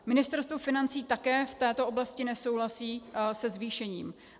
Ministerstvo financí také v této oblasti nesouhlasí se zvýšením.